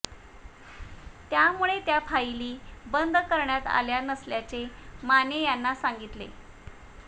त्यामुळे त्या फाईली बंद करण्यात आल्या नसल्याचे माने यांना सांगितले